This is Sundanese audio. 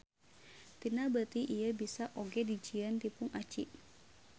Tina beuti ieu bisa oge dijieun tipung aci.